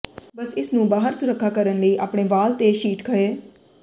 ਬਸ ਇਸ ਨੂੰ ਬਾਹਰ ਸੁਥਰਾ ਕਰਨ ਲਈ ਆਪਣੇ ਵਾਲ ਤੇ ਸ਼ੀਟ ਖਹਿ